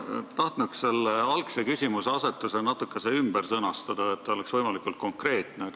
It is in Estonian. Ma tahaksin algse küsimuseasetuse natukese ümber sõnastada, et küsimus oleks võimalikult konkreetne.